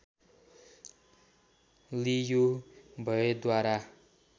लियु भएद्वारा